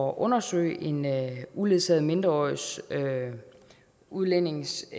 undersøge en uledsaget mindreårig udlændings